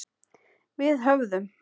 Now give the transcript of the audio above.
Við höfðum